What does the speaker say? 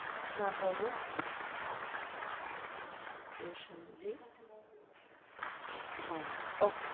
হা বলুন, প্রসেনজিত নায়ক okay,